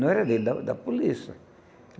Não era dele, era da da polícia.